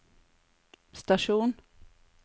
stasjon